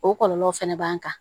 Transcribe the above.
O kɔlɔlɔw fɛnɛ b'an kan